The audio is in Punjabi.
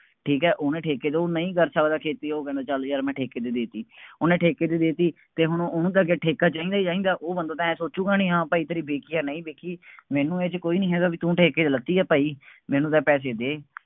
ਠੀਕ ਹੈ ਉਹਨੇ ਠੇਕੇ ਤੋਂ, ਉਹ ਨਹੀਂ ਕਰ ਸਕਦਾ ਖੇਤੀ, ਉਹ ਕਹਿੰਦਾ ਚੱਲ ਯਾਰ ਮੈਂ ਠੇਕੇ ਤੇ ਦੇ ਦਿੱਤੀ। ਉਹਨੇ ਠੇਕੇ ਤੇ ਦੇ ਦਿੱਤੀ ਅਤੇ ਹੁਣ ਉਹਨੂੰ ਤਾਂ ਅੱਗੇ ਠੇਕਾ ਚਾਹੀਦਾ ਚਾਹੀਦਾ, ਉਹ ਬੰਦਾ ਤਾਂ ਆਏਂ ਸੋਚੂਗਾ ਨਹੀਂ, ਹਾਂ ਭਾਈ ਤੇਰੀ ਵਿਕੀ ਹੈ, ਨਹੀਂ ਵਿਕੀ। ਮੈਨੂੰ ਇਹ ਚ ਕੋਈ ਨਹੀਂ ਹੈਗਾ ਬਈ ਤੂੰ ਠੇਕੇ ਤੇ ਲਿਤੀ ਹੈ ਭਾਈ, ਮੈਨੂੰ ਤਾਂ ਪੈਸੇ ਦੇ,